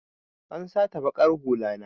An sata baƙar hulla na.